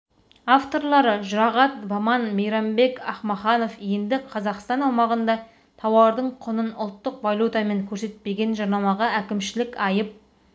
авторлары жұрағат баман мейрамбек ахмаханов енді қазақстан аумағында тауардың құнын ұлттық валютамен көрсетпеген жарнамаға әкімшілік айып